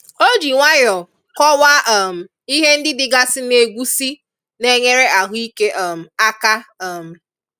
O ji nwanyọ kọwaa um ihe ndị dịgasi n'egwusi na-enyere ahụike um aka um